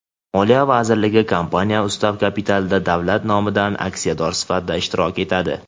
Moliya vazirligi kompaniya ustav kapitalida davlat nomidan aksiyador sifatida ishtirok etadi.